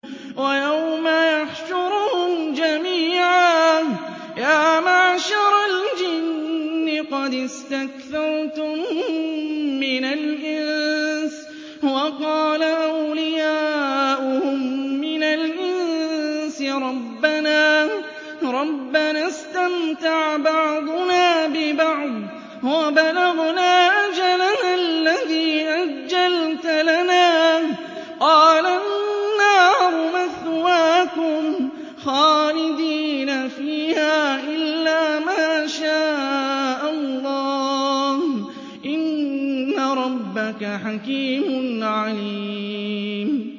وَيَوْمَ يَحْشُرُهُمْ جَمِيعًا يَا مَعْشَرَ الْجِنِّ قَدِ اسْتَكْثَرْتُم مِّنَ الْإِنسِ ۖ وَقَالَ أَوْلِيَاؤُهُم مِّنَ الْإِنسِ رَبَّنَا اسْتَمْتَعَ بَعْضُنَا بِبَعْضٍ وَبَلَغْنَا أَجَلَنَا الَّذِي أَجَّلْتَ لَنَا ۚ قَالَ النَّارُ مَثْوَاكُمْ خَالِدِينَ فِيهَا إِلَّا مَا شَاءَ اللَّهُ ۗ إِنَّ رَبَّكَ حَكِيمٌ عَلِيمٌ